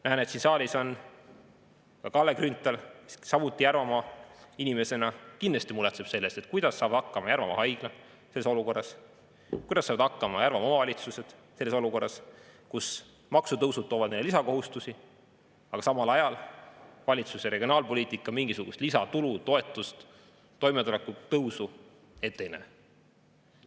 Näen, et siin saalis on Kalle Grünthal, kes Järvamaa inimesena kindlasti muretseb selle pärast, kuidas saab hakkama Järvamaa Haigla selles olukorras, kuidas saavad hakkama Järvamaa omavalitsused selles olukorras, kus maksutõusud toovad neile lisakohustusi, aga samal ajal valitsuse regionaalpoliitika mingisugust lisatulu, toetust, toimetuleku tõusu ette ei näe.